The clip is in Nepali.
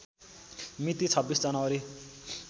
मिति २६ जनवरी